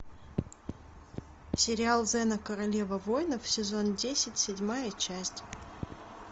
сериал зена королева воинов сезон десять седьмая часть